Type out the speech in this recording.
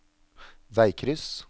veikryss